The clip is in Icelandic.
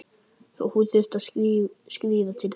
Þó hún þyrfti að skríða til þess.